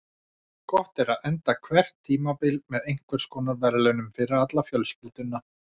Gott er að enda hvert tímabil með einhvers konar verðlaunum fyrir alla fjölskylduna.